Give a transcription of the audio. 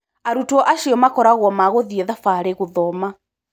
Arutwo acio makoragwo ma gũthiĩ thabarĩ gũthoma.